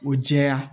O jɛya